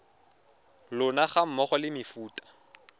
lona ga mmogo le mefuta